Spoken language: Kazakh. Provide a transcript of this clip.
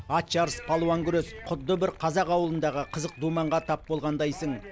ат жарыс палуан күрес құдды бір қазақ ауылындағы қызық думанға тап болғандайсың